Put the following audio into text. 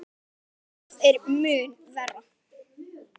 En annað er mun verra.